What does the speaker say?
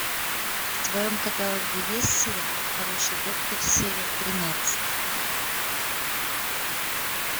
в твоем каталоге есть сериал хороший доктор серия тринадцать